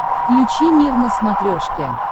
включи мир на смотрешке